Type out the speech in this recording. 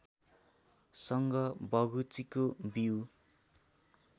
सँग बगुचीको बिउ